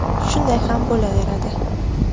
Shunday ham bo‘laveradi”.